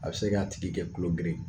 A bi se k'a tigi kɛ kulo geren ye